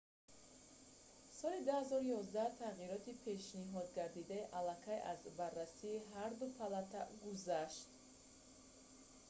соли 2011 тағйироти пешниҳодгардида аллакай аз барраси ҳарду палата гузашт